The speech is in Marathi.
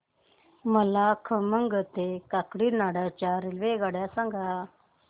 मला खम्मम ते काकीनाडा च्या रेल्वेगाड्या सांगा